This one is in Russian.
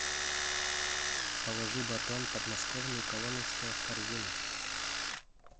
положи батон подмосковный коломенское в корзину